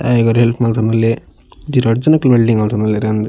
ಆಯೆಗ್ ಒರಿ ಹೆಲ್ಪ್ ಮಂತೊಂದುಲ್ಲೆ ಒಂಜಿ ರಡ್ಡ್ ಜನಕ್ ವೆಲ್ಡಿಂಗ್ ಮತೊಂದುಲ್ಲೆರಾ ಅಂದ್.